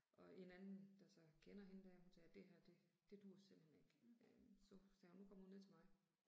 Og en anden der så kender hende der hun sagde det her det, det duer simpelthen ikke. Øh så sagde hun nu kommer hun ned til mig